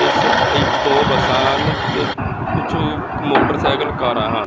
ਇੱਸ ਚ ਆਹੀ ਦੋ ਬੱਸਾਂ ਨੇਂ ਤੇ ਕੁਛ ਮੋਟਰਸਾਈਕਲ ਕਾਰਾਂ ਹਨ।